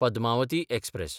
Padmavati express